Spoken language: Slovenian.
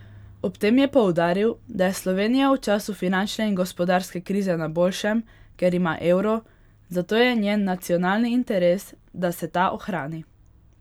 Ob tem je poudaril, da je Slovenija v času finančne in gospodarske krize na boljšem, ker ima evro, zato je njen nacionalni interes, da se ta ohrani.